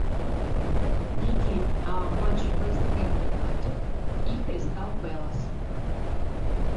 найди матч вест хэм юнайтед и кристал пэлас